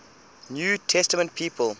new testament people